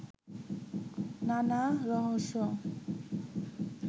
নানা রহস্য